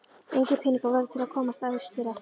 Engir peningar voru til að komast austur aftur.